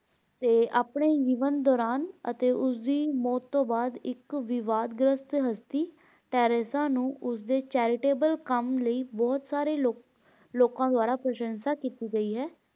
ਅਤੇ ਆਪਣੇ ਜੀਵਨ ਦੌਰਾਨ ਅਤੇ ਉਸ ਦੀ ਮੌਤ ਤੋਂ ਬਾਅਦ ਇੱਕ ਵਿਵਾਦਗ੍ਰਹਸਟ ਹਸਤੀ Teressa ਨੂੰ ਉਸਦੇ charitable ਕੰਮ ਲਈ ਬਹੁਤ ਸਾਰੇ ਲੋਕਾਂ ਦੁਆਰਾ ਪ੍ਰਸ਼ੰਸਾ ਕੀਤੀ ਗਈ ਹੈ l